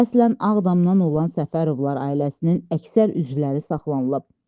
Əslən Ağdamdan olan Səfərovlar ailəsinin əksər üzvləri saxlanılıb.